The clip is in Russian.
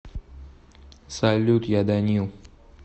салют я данил